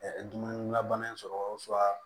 dumuni labana in sɔrɔ